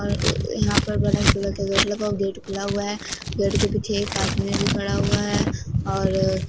अअ यहां पर बड़ा सिल्वर का गेट लगा हुआ गेट खुला हुआ है और गेट के पीछे एक आदमी भी खड़ा हुआ है और --